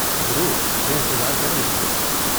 ضرور، میں انتظار کر رہی ہوں۔